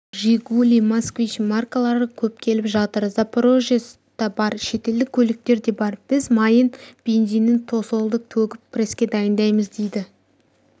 жигули москвич маркалары көп келіп жатыр запарожец та бар шетелдік көліктер де бар біз майын бензинін тосолды төгіп преске дайындаймыз дейді